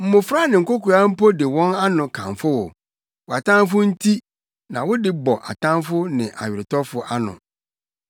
mmofra ne nkokoaa mpo de wɔn ano kamfo wo, wʼatamfo nti; na wode bɔ atamfo ne aweretɔfo ano.